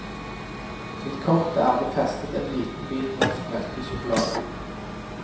Til kortet er det festen en liten bit norsk melkesjokolade.